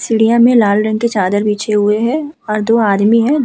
सीढियाँ में लाल रंग की चादर बिछे हुए है और दो आदमी हैं।